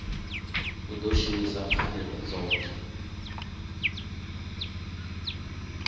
u ḓo shumisa pfanelo dzoṱhe